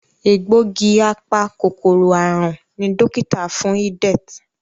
Egbògi apa-kòkòrò àrùn ní dókítà fún Edet.